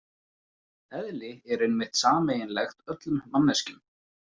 Eðli er einmitt sameiginlegt öllum manneskjum.